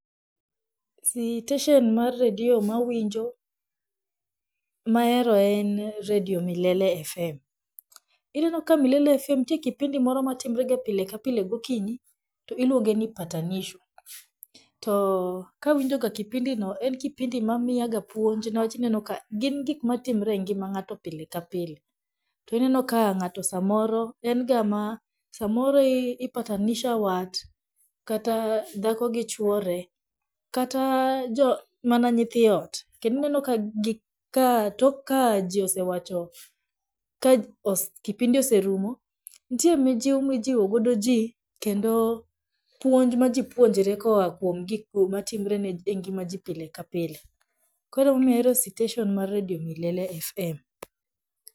Siteshen mar redio mawinjo, mahero en redio milele fm. Ineno ka milele fm nitie kipindi moro matimrega pile ka pile gokinyi, to iluonge ni patanisho, to kawinjoga kipindi no en kipindi mamiyaga puonj niwach inenoka gin gikmatimre e ngima ng'ato pile ka pile, to ineno ka ng'ato samoro enga ma samoro i patanisha wat, kata dhako gi chuore kata jo kata mana nyithii ot, kendo ineno ka tok ka jii oswawacho ka kipindi oserumo nitie mijiw mijiwogodo jii kendo puonj ma jii puonjre koa kwom gigo matimre e ngima jii pile ka pile koro emomiyo ahero sitesen mar redio maisha fm.